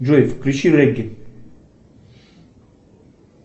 джой включи регги